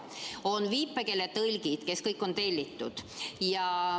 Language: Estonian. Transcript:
On viipekeeletõlgid, kes kõik on tellitud.